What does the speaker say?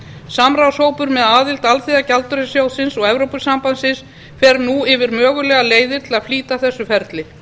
samráðshópur með aðild alþjóðagjaldeyrissjóðsins og evrópusambandsins fer nú yfir mögulegar leiðir til að flýta þessu ferli